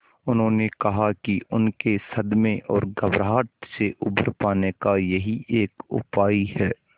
उन्होंने कहा कि उनके सदमे और घबराहट से उबर पाने का यही एक उपाय है